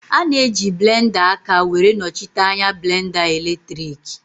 A na-eji blenda aka were nọchite anya blenda eletriki